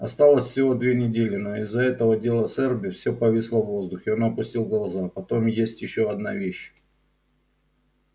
осталось всего две недели но из-за этого дела с эрби все повисло в воздухе он опустил глаза потом есть ещё одна вещь